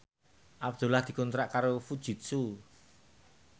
Abdullah dikontrak kerja karo Fujitsu